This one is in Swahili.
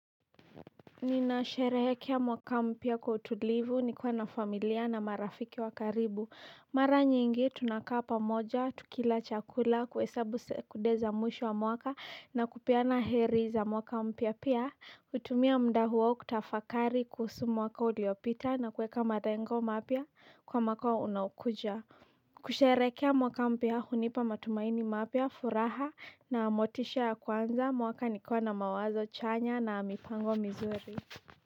Ninasherehekea mwaka mpya kwa utulivu nikiwa na familia na marafiki wa karibu mara nyingi tunakaa pamoja, tukila chakula, kuhesabu sekunde za mwisho wa mwaka na kupeana heri za mwaka mpya pia hutumia muda huo kutafakari kuhusu mwaka uliopita na kueka malengo mapya kwa mwaka unaokuja kusherehekea mwaka mpya hunipa matumaini mapya, furaha na motisha ya kuanza mwaka nikiwa na mawazo chanya na mipango mizuri.